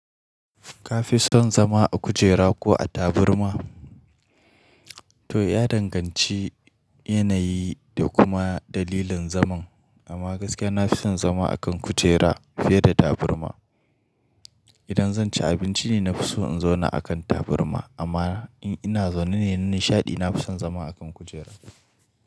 Ka fi son zama a kujera ko a taburma? To, ya danganci yanayi da kuma dalilin zaman. Amma gaskiya na fi son zama a kan kujera fiye da tabarma. Idan zan ci abinci ne, na fi so in zauna a kan tabarma amma in ina zaune ne na nishaɗi, na fi son zama a kan kujera.